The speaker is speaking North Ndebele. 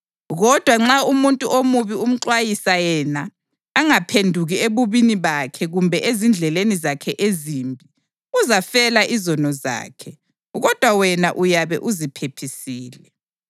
Kodwa nxa umuntu omubi umxwayisa yena angaphenduki ebubini bakhe kumbe ezindleleni zakhe ezimbi, uzafela izono zakhe, kodwa wena uyabe uziphephisile.